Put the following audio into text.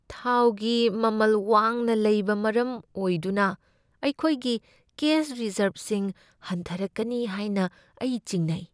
ꯊꯥꯎꯒꯤ ꯃꯃꯜ ꯋꯥꯡꯅ ꯂꯩꯕ ꯃꯔꯝ ꯑꯣꯏꯗꯨꯅ ꯑꯩꯈꯣꯏꯒꯤ ꯀꯦꯁ ꯔꯤꯖꯔꯕꯁꯤꯡ ꯍꯟꯊꯔꯛꯀꯅꯤ ꯍꯥꯏꯅ ꯑꯩ ꯆꯤꯡꯅꯩ ꯫